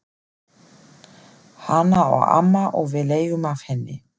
Hana á amma og við leigjum af henni.